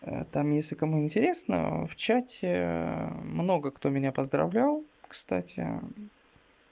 там если кому интересно в чате много кто меня поздравлял кстати